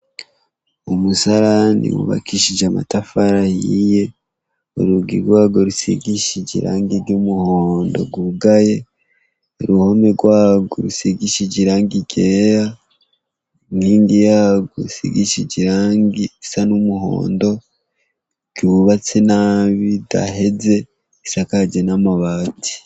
Umusarani wubakishije amatafara yiye uruga irwago rusigishije irangi iry'umuhondo rwugaye ruhome rwawo rusigishije irange igera unkingi yago usigishije irangi isa n'umuhondo ryubatse nabi daheze isakaje n'amabazi.